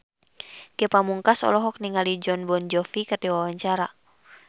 Ge Pamungkas olohok ningali Jon Bon Jovi keur diwawancara